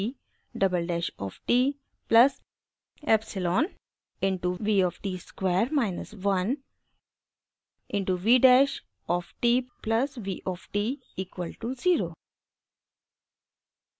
v double dash of t plus epsilon into v of t square minus 1 into v dash of t plus v of t equal to 0